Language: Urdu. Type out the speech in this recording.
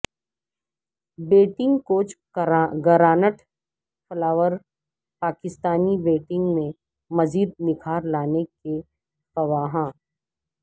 batting coach Grant Flower Pakistani batting میں مزید نکھار لانے کے خواہاں